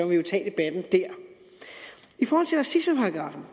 vi jo tage debatten dér i forhold til racismeparagraffen